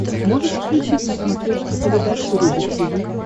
можешь включить на смотрешке передачу рубль ти ви